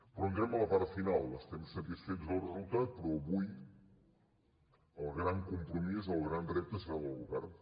però entrem a la part final estem satisfets del resultat però avui el gran compromís el gran repte serà el govern